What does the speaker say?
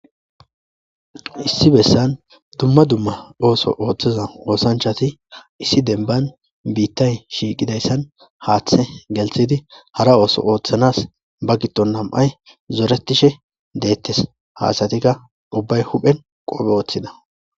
issi bessan dumma dumma ooso ooththeza oosanchati issi denban biittay shiiqidayssan haaththe gelthidi hara ooso ooththanas ba gitton nam7ay zoretishe deettes haasatikka ubbay huphen qoophe ooththida